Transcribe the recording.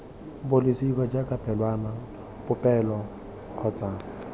bolosika jaaka pelwana popelo kgotsa